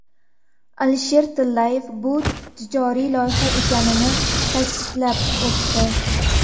Alisher Tillayev bu tijoriy loyiha ekanini ta’kidlab o‘tdi.